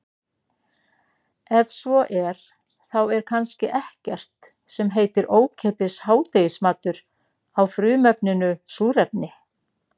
Ef svo er þá er kannski ekkert sem heitir ókeypis hádegismatur á frumefninu súrefni.